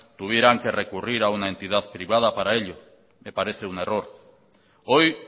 tuvieran que recurrir a una entidad privada para ello me parece un error hoy